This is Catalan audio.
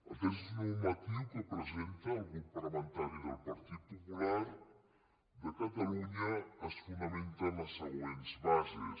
el text normatiu que presenta el grup parlamentari del partit popular de catalunya es fonamenta en les següents bases